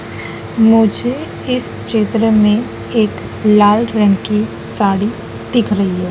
मुझे इस चित्र में एक लाल रंग की साड़ी दिख रही है।